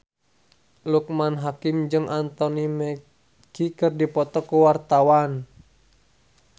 Loekman Hakim jeung Anthony Mackie keur dipoto ku wartawan